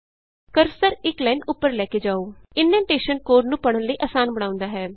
cursor ਇਕ line ਉਪਰ ਲੈ ਕੇ ਜਾਉ ਇਨਡੈਨਟੇਸ਼ਨ ਕੋਡ ਨੂੰ ਪੜ੍ਹਨ ਲਈ ਅਸਾਨ ਬਣਾਉਂਦਾ ਹੈ